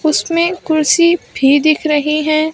उसमें कुर्सी भी दिख रही हैं।